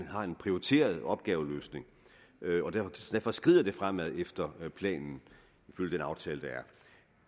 har en prioriteret opgaveløsning og derfor skrider det fremad efter planen ifølge den aftale der er